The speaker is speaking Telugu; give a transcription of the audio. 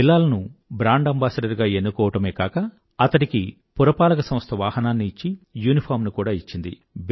బిలాల్ ను బ్రాండ్ అంబాసిడర్ గా ఎన్నుకోవడమే కాక అతడికి పురపాలక సంస్థ వాహనాన్ని ఇచ్చి యూనిఫారమ్ ని ఇచ్చింది